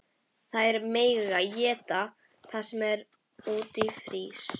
Þær mega eta það sem úti frýs!